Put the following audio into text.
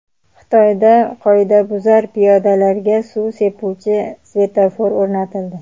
Xitoyda qoidabuzar piyodalarga suv sepuvchi svetofor o‘rnatildi .